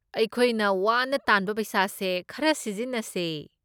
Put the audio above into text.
ꯑꯩꯈꯣꯏꯅ ꯋꯥꯅ ꯇꯥꯟꯕ ꯄꯩꯁꯥꯁꯦ ꯈꯔ ꯁꯤꯖꯤꯟꯅꯁꯦ꯫